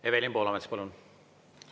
Evelin Poolamets, palun!